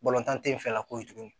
Balontan tɛ yen fɛ ka ko ye tuguni